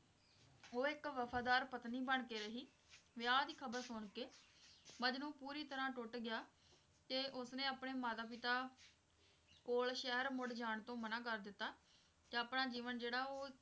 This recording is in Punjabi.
ਉਹ ਇੱਕ ਵਫਾਦਾਰ ਪਤਨੀ ਬਣਕੇ ਰਹੀ ਵਿਆਹ ਦੀ ਖਬਰ ਸੁਣਕੇ ਮਜਨੂੰ ਪੂਰੀ ਤਰਾਂ ਟੁੱਟ ਗਿਆ ਤੇ ਉਸਨੇ ਆਪਣੇ ਮਾਤਾ ਪਿਤਾ ਕੋਲ ਸ਼ਹਿਰ ਮੁੜ ਜਾਣ ਤੋਂ ਮਨਾ ਕਰ ਦਿੱਤਾ ਤੇ ਆਪਣਾ ਜੀਵਨ ਜਿਹੜਾ ਉਹ